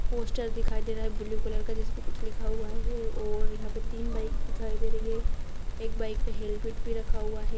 Poster दिखाई दे रहा है ब्लू कलर का जिसपे कुछ लिखा हुआ है और यहाँ पर तीन बाइक दिखाई दे रही है एक बाइक पे हेलमेट भी रखा हुआ है ।